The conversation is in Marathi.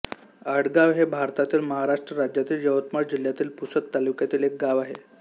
आडगाव हे भारतातील महाराष्ट्र राज्यातील यवतमाळ जिल्ह्यातील पुसद तालुक्यातील एक गाव आहे